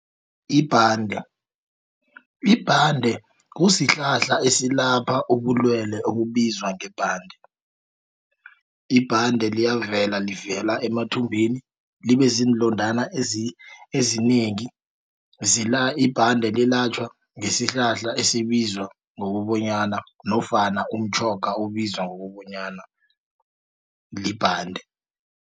Ibhande kusihlahla esilapha ubulwele obubizwa ngebhande. Ibhande livela emathumbini, libeziinlondana ezinengi . Ibhande lilatjhwa ngesihlahla esibizwa ngokobanyana, nofana umtjhoga obizwa ngokobanyana libhande.